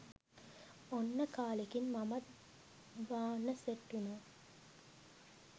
ඔන්න කාලෙකින් මමත් බාන්න සෙට් උනා